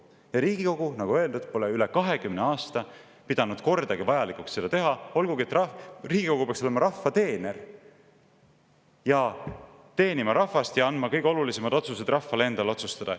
Ja Riigikogu, nagu öeldud, pole üle 20 aasta pidanud kordagi vajalikuks seda teha, olgugi et Riigikogu peaks olema rahva teener, teenima rahvast ja andma kõige olulisemad otsused rahvale endale otsustada.